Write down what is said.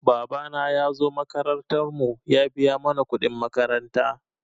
Babana ya zo makarantar mu ya biya mana kuɗin makaranta.